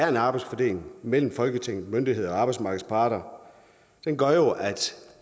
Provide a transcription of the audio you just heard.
en arbejdsfordeling mellem folketinget myndigheder og arbejdsmarkedets parter gør jo at